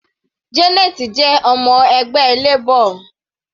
Janet jẹ ọmọ ẹgbẹ́ Labor.